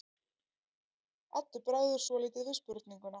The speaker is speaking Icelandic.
Eddu bregður svolítið við spurninguna.